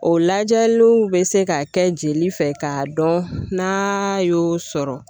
O lajɛliw bɛ se ka kɛ jeli fɛ k'a dɔn n'a y'o sɔrɔ